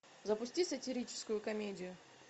запусти сатирическую комедию